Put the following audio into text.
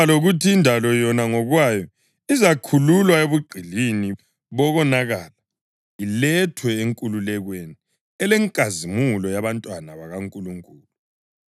lokuthi indalo yona ngokwayo izakhululwa ebugqilini bokonakala ilethwe enkululekweni elenkazimulo yabantwana bakaNkulunkulu.